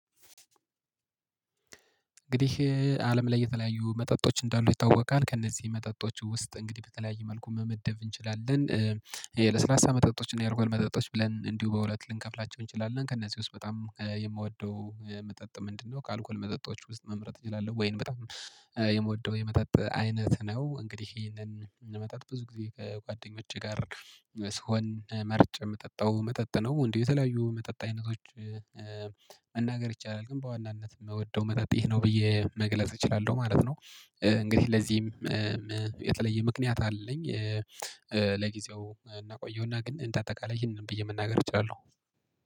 እንግዲህ አለም ላይ የተለያዩ መጠጦች እንዳሉ ይታወቃል ከእነዚህ መጠጦች ውስጥ እንግዲህ በተለያየ መልኩ መመደብ እንችላለን። ይሄ ለስላሳ መጠጦችን ያርጉን መጠጦች ብለን እንዲሁ በሁለት ልንከፍላቸው እንችላለን ከእነዚህ ውስጥ በጣም የምወደው መጠጥ ምንድነው? ከአልኮል መጠጦች ውስጥ መምረጥ እችላለሁ ወይንም በጣም የምወደው የመጠጥ አይነት ነው። እንግዲህ ይሄንን የመጠጥ ብዙ ጊዜ ከጓደኞቼ ጋር ስሆን መርጭ የምጠጣው መጠጥ ነው። እንዲው የተለያዩ መጠጥ አይነቶች። መናገር ይቻላል ግን በዋናነት መወደው መጠጥ ይሄ ነው ብዬ መግለጽ እችላለሁ ማለት ነው። እንግዲህ ለዚህም የተለየ ምክንያት አለኝ። ለጊዜው እናቆየውና ግን እንደ አጠቃላይ ይሄንን ብዬ ምናገር እችላለሁ